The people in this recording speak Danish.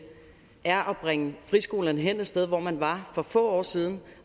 er at bringe friskolerne et sted hen hvor man var for få år siden